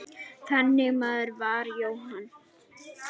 Þannig maður var Jóhann.